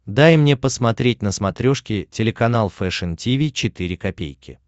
дай мне посмотреть на смотрешке телеканал фэшн ти ви четыре ка